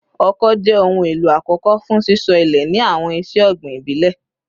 Oko jẹ ohun elo akọkọ fun sisọ ile ni awọn iṣe ogbin ibile